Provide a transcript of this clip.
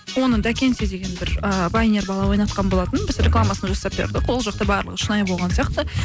оны дакенти деген бір ііі вайнер бала ойнатқан болатын біз рекламасын жасап бердік ол жақта барлығы шынайы болған сияқты